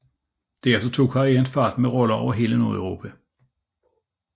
Derefter tog karrieren fart med roller over hele Nordeuropa